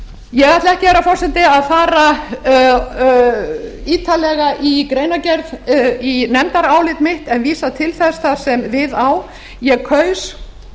ég ætla ekki herra forseti að ég ætla ekki herra forseti að fara ítarlega í nefndarálit mitt en vísa til þess þar sem við á ég kaus